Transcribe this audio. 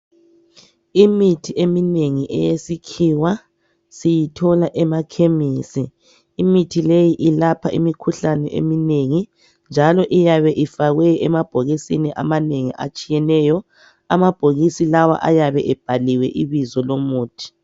Imithi eminengi eyesikhiwa siyithola emakhemisi imithi leyi ilapha imikhuhlane eminengi njalo iyabe ifakwe emabhokisini amanengi atshiyeneyo amabhokisi lawa ayabe ebhaliwe ibizo lomuthi.